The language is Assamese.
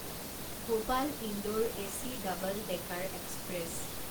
Bhopal Indore AC double decker express